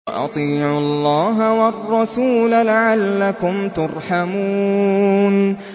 وَأَطِيعُوا اللَّهَ وَالرَّسُولَ لَعَلَّكُمْ تُرْحَمُونَ